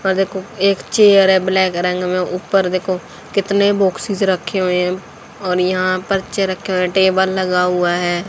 उपर देखो एक चेयर है ब्लैक रंग मे उपर देखो कितने बोक्सेज रखे हुए है और यहां पर पर्चे रखे हुए टेबल लगा हुआ है।